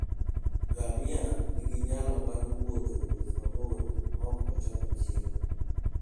Ngamia nigi nyalo mar wuotho wuoth mabor maok ocham chiemo.